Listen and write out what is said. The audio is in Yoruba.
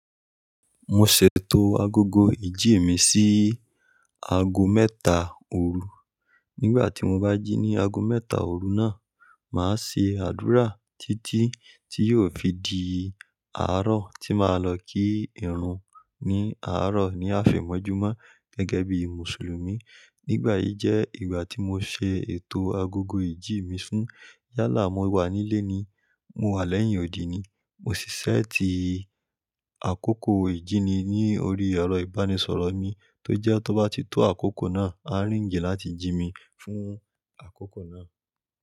Mo ṣètò agogo ìjí mi sí aago mẹ́ta òru. Nígbà tí mo bá jí ní aago mẹ́ta òru náà, màá ṣe àdúrà títí tí yóò fi di àárọ̀ tí màá lọ kí ìrun ní àárọ̀ ní àfẹ̀mọ́júmọ́ gẹ́gẹ́ bíi Mùsùlùmí. Nígbà yí jẹ́ ìgbà tí mo ṣe ètò agogo ìjí mi fún yálà mo wà nílé ni, mo wà lẹ́yìn odi ni. Mo sì ṣẹ́ẹ̀tì àkókò ìjíni ní orí ẹ̀rọ ìbánisọ̀rọ̀ mi tó jẹ́ tó bá ti tó àkókò náà, á rìǹgì láti jí mi fún àkókò náà.